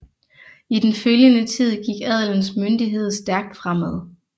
I den følgende tid gik adelens myndighed stærkt fremad